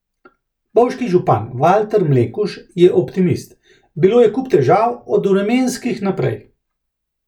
Bovški župan Valter Mlekuž je optimist: "Bilo je kup težav, od vremenskih naprej.